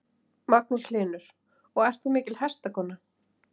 Magnús Hlynur: Og þú ert mikil hestakona?